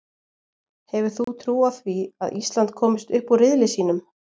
Hefur þú trú á því að Ísland komist upp úr riðli sínum?